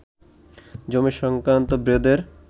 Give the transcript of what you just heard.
জমি সংক্রান্ত বিরোধের